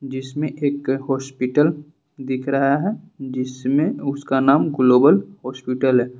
जिसमें एक हॉस्पिटल दिख रहा है जिसमें उसका नाम ग्लोबल हॉस्पिटल है।